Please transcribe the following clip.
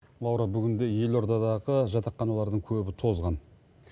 лаура бүгінде елордадағы жатақханалардың көбі тозған